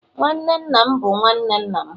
nwanne nna m bụ nwanne nna m